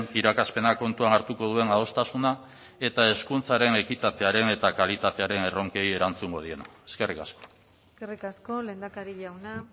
irakaspena kontuan hartuko duen adostasuna eta hezkuntzaren ekitatearen eta kalitatearen erronkei erantzungo diena eskerrik asko eskerrik asko lehendakari jauna